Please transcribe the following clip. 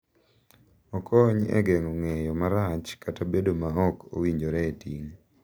Okony e geng’o ng’eyo marach kata bedo ma ok owinjore e ting’.